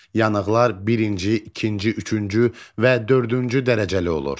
Yanıqlar birinci, ikinci, üçüncü və dördüncü dərəcəli olur.